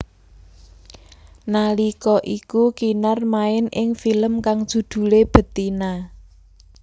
Nalika iku Kinar main ing film kang judhulé Betina